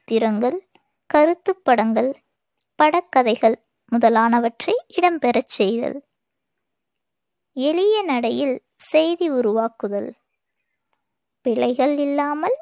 சித்திரங்கள், கருத்துப் படங்கள், படக்கதைகள் முதலானவற்றை இடம்பெறச் செய்தல், எளிய நடையில் செய்தி உருவாக்குதல், பிழைகள் இல்லாமல்